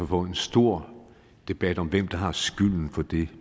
få en stor debat om hvem der har skylden for det